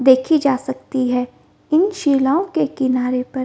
देखे जा सकती है इन शिलाओं के किनारे पर --